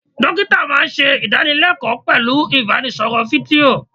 Dókítà máa ń ṣe idanilekoo pẹ̀lú ibanisoro fídíò.